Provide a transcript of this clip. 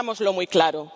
Tengámoslo muy claro.